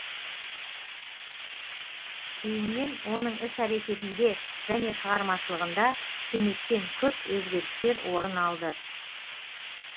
кейіннен оның іс әрекетінде және шығармашылығында кенеттен күрт өзгерістер орын алды